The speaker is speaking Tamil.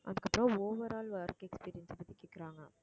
அதுக்கப்புறம் overall work experience பத்தி கேட்கிறாங்க